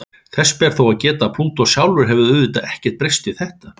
Þess ber þó að geta að Plútó sjálfur hefur auðvitað ekkert breyst við þetta.